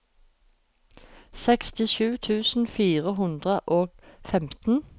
sekstisju tusen fire hundre og femten